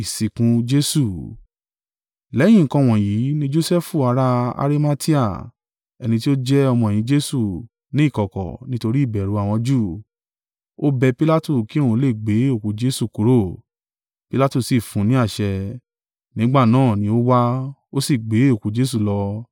Lẹ́yìn nǹkan wọ̀nyí ní Josẹfu ará Arimatea, ẹni tí ó jẹ́ ọmọ-ẹ̀yìn Jesu, ní ìkọ̀kọ̀, nítorí ìbẹ̀rù àwọn Júù, o bẹ Pilatu kí òun lè gbé òkú Jesu kúrò, Pilatu sì fún un ní àṣẹ. Nígbà náà ni ó wá, ó sì gbé òkú Jesu lọ.